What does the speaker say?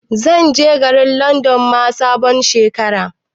Zan je Garin Landon ma sabon Shekara